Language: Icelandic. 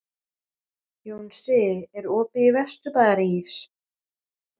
Jónsi, er opið í Vesturbæjarís?